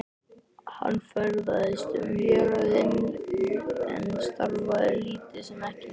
Hann ferðaðist um héraðið en starfaði lítið sem ekki neitt.